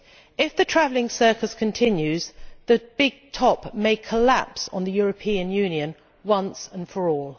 If the travelling circus continues, the big top may collapse on the European Union once and for all.